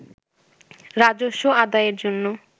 রাজস্ব আদায়ের জন্য